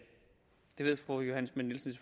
ved fru johanne schmidt nielsen